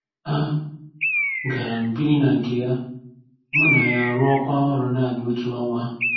A gara m biri na nke ya, mụ na ya arụọkwa ọrụ naanị otu ọnwa.